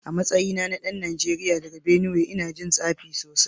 A matsayina na dan Najeriya daga Benue ina jin tsafi sosai